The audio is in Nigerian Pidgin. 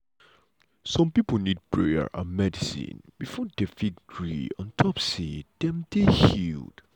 some pipo need prayer and medicine before dem fit gree um say dem dey healed.